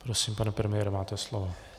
Prosím, pane premiére, máte slovo.